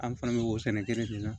An fana bɛ o sɛnɛ kelen dilan